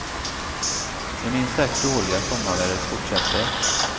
Det minst sagt dåliga sommarvädret fortsätter.